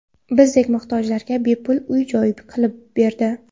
Bizdek muhtojlarga bepul uy-joy qilib berdi.